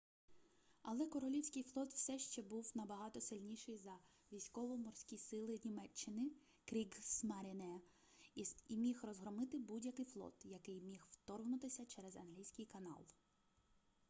але королівський флот все ще був набагато сильніший за військово-морські сили німеччини кріґсмаріне і міг розгромити будь-який флот який міг вторгнутися через англійський канал